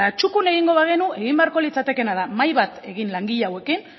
txukun egingo bagenu egin beharko litzatekeena da mahai bat egin langile hauekin